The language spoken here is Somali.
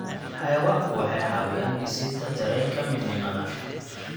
Xayawaanku waxay caawiyaan dhisidda dareenka midnimada.